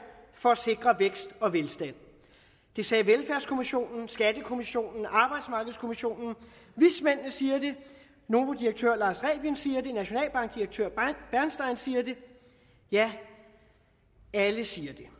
for at sikre vækst og velstand det sagde velfærdskommissionen skattekommissionen arbejdsmarkedskommissionen vismændene siger det novodirektør lars rebien sørensen siger det nationalbankdirektør bernstein siger det ja alle siger det